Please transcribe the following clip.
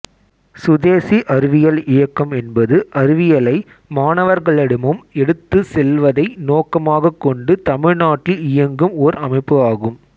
சுதேசி அறிவியல் இயக்கம் என்பது அறிவியலை மாணவர்களிடமும் எடுத்துச் செல்வதை நோக்கமாக் கொண்டு தமிழ்நாட்டில் இயங்கும் ஒர் அமைப்பு ஆகும்